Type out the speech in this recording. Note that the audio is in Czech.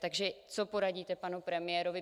Takže co poradíte panu premiérovi?